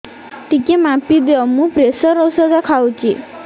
ଟିକେ ମାପିଦିଅ ମୁଁ ପ୍ରେସର ଔଷଧ ଖାଉଚି